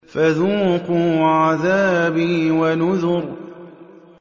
فَذُوقُوا عَذَابِي وَنُذُرِ